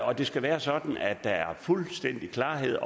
og det skal være sådan at der er fuldstændig klarhed